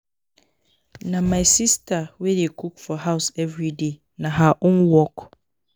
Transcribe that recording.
Na my sista wey dey cook for house everyday, na her own work.